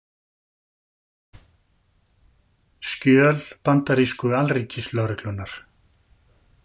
Skjöl bandarísku Alríkislögreglunnar